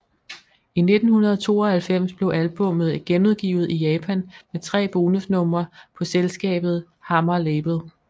I 1992 blev albummet genudgivet i Japan med tre bonus numre på selskabet Hammer Label